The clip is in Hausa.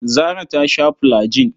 Zarah ta sha fulajin.